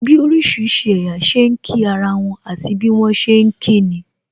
Bí orísìírísìí ẹ̀yà ṣe ń kí ara wọn, àti bí wọn ṣe ni kí nin